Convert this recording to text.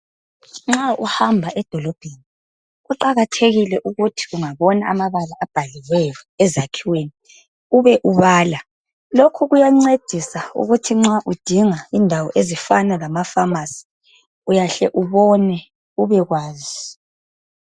Nxa uhamba edolobheni kuqakathekile ukuthi ungabona amabala abhaliweyo ezakhiweni ube ubala. Lokhu kuyancedisa ukuthi nxa udinga indawo efana lama"pharmacy" uyahle ubone ubekwazi.